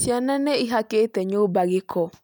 Ciana nĩ ihakite nyũmba gĩko